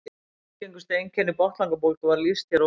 Algengustu einkennum botnlangabólgu var lýst hér að ofan.